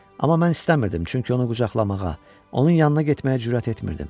Amma mən istəmirdim, çünki onu qucaqlamağa, onun yanına getməyə cürət etmirdim.